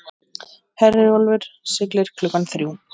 Herjólfur siglir klukkan þrjú